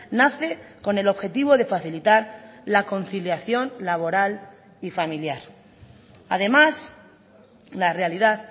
nace con el objetivo de facilitar la conciliación laboral y familiar además la realidad